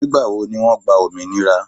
Ìgbà wo ni wọ́n gba òmìnira?